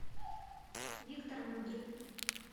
виктор мудрый